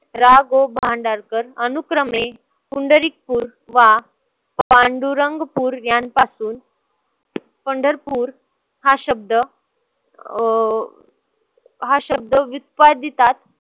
रा. गो. भांडारकर अनुक्रमे पुंडरीकपूर वा पांडुरंगपुर यांपासून पंढरपूर हा शब्द अं हा शब्द विस्फादीतात